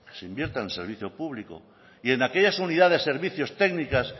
se invierta en el servicio público y en aquellas unidades de servicios técnicas